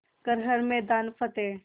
कर हर मैदान फ़तेह